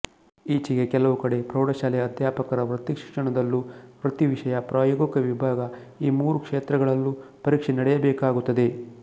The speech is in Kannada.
ಈಚೆಗೆ ಕೆಲವುಕಡೆ ಪ್ರೌಢಶಾಲೆಯ ಅಧ್ಯಾಪಕರ ವೃತ್ತಿಶಿಕ್ಷಣದಲ್ಲೂ ವೃತ್ತಿವಿಷಯ ಪ್ರಾಯೋಗಿಕ ವಿಭಾಗಈ ಮೂರು ಕ್ಷೇತ್ರಗಳಲ್ಲೂ ಪರೀಕ್ಷೆ ನಡೆಯಬೇಕಾಗುತ್ತದೆ